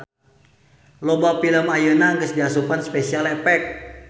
Loba film ayeuna geus diasupan Special Effect.